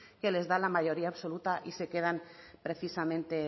que les da la mayoría absoluta y se quedan precisamente